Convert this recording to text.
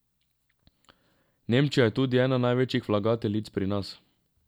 Nemčija je tudi ena največjih vlagateljic pri nas.